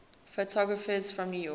photographers from new york